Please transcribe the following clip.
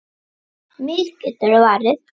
Mig geturðu varið.